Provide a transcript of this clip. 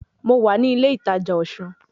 Mo wà ní ilé ìtajà Osun